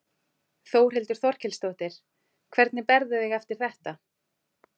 Þórhildur Þorkelsdóttir: Hvernig berðu þig eftir þetta?